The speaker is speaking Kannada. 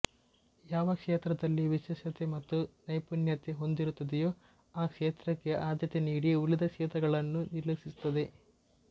ಯಾವ ಕ್ಷೇತ್ರದಲ್ಲಿ ವಿಶೇಷತೆ ಮತ್ತು ನೈಪುಣ್ಯತೆ ಹೊಂದಿರುತ್ತದೆಯೋ ಆ ಕ್ಷೇತ್ರಕ್ಕೆ ಆದ್ಯತೆ ನೀಡಿ ಉಳಿದ ಕ್ಷೇತ್ರಗಳನ್ನು ನಿರ್ಲಕ್ಷಿಸುತ್ತದೆ